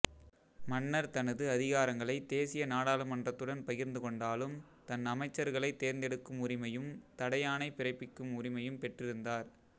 மன்னர் தனது அதிகாரங்களைத் தேசிய நாடாளுமன்றத்துடன் பகிர்ந்து கொண்டாலும் தன் அமைச்சர்களைத் தேர்ந்தெடுக்கும் உரிமையும் தடையாணை பிறப்பிக்கும் உரிமையும் பெற்றிருந்தார்